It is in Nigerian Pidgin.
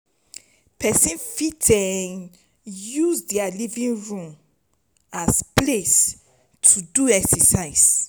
person fit use their living room as place to fit exercise